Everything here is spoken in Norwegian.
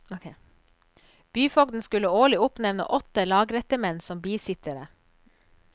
Byfogden skulle årlig oppnevne åtte lagrettemenn som bisittere.